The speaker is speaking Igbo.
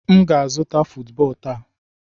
M ga-azụta football taa.